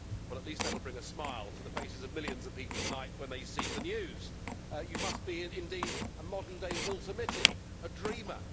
Well, at least that will bring a smile to the faces of millions of people tonight when they see the news. You must be indeed a modern day Walter Mitty, a dreamer!